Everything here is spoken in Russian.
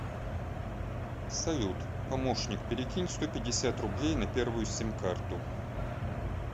салют помощник перекинь сто пятьдесят рублей на первую сим карту